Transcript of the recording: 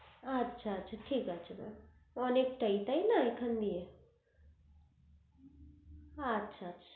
আচ্ছা আচ্ছা ঠিক আছে mam অনেকটাই তাই না এখন দিয়ে আচ্ছা আচ্ছা